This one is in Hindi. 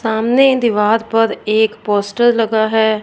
सामने दीवार पर एक पोस्टर लगा हैं।